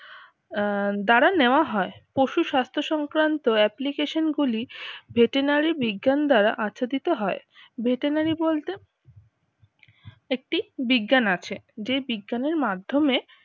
আহ দ্বারা নেওয়া হয়। পশু স্বাস্থ্য সংক্রান্ত application গুলি veterinary বিজ্ঞান দ্বারা হয় veterinary বলতে একটি বিজ্ঞান আছে যে বিজ্ঞান এর মাধ্যমে